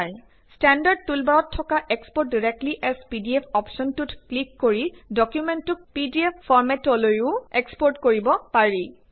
standard টুলবাৰত থকা export directly as PDF অপ্শ্বনটোত ক্লিক কৰি ডকুমেন্টতোক পিডিএফ ফৰ্মেটলৈও এক্সপৰ্ট কৰিব পাৰি